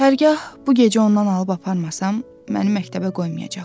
Hərgah bu gecə ondan alıb aparmasam, məni məktəbə qoymayacaqlar.